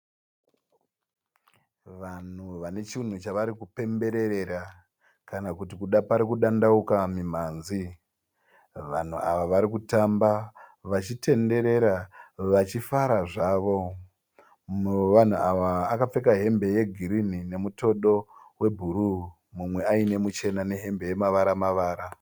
Vanhu vane chinhu chavari kupemberera kana kuti pari kudandauka mimhanzi, vanhu ava vari kutamba vachitenderera vachifara zvavo ,mumwe wevanhu ava wakapfeka hembe yegirini nemutodo webhuruu umwe aine muchena nehembe yemavara mavara